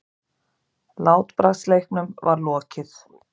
Látbragðsleiknum var lokið.